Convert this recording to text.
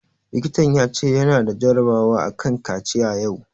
Likitan ya ce ya na da jarabawa a kan kaciya yau